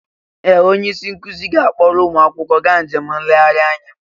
Ee! Onye isi nkụzi ga-akpọrọ ụmụ akwụkwọ gaa njem nlegharị anya.